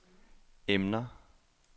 emner